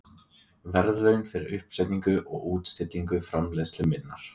verðlaun fyrir uppsetningu og útstillingu framleiðslu minnar.